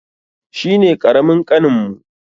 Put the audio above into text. Shi ne ƙaramin ƙaninmu.